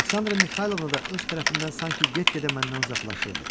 Aleksandra Mixaylovna da öz tərəfindən sanki get-gedə məndən uzaqlaşırdı.